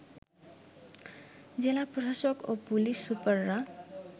জেলা প্রশাসক ও পুলিশ সুপাররা